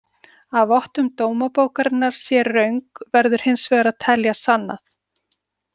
Að vottun dómabókarinnar sé röng verður hins vegar að telja sannað.